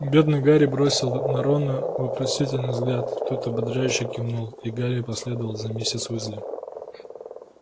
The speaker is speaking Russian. бедный гарри бросил на рона вопросительный взгляд тот ободряюще кивнул и гарри последовал за миссис уизли